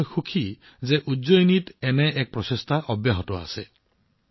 আৰু মই সুখী যে আজিকালি উজ্জয়িনীত এনে এটা প্ৰচেষ্টা চলি আছে